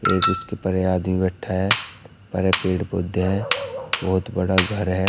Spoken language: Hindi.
एक उसके परे आदमी बैठा है हरे पेड़ पौधे हैं बहुत बड़ा घर है।